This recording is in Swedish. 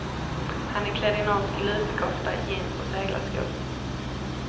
Han är klädd i norsk lusekofta, jeans och seglarskor.